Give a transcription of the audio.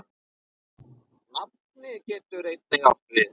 Nafnið getur einnig átt við